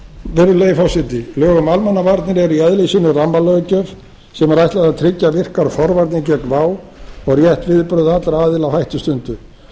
virðulegi forseti lög um almannavarnir eru í eðli sínu rammalöggjöf sem er ætlað að tryggja virkar forvarnir gegn vá og rétt viðbrögð allra aðila á hættustundu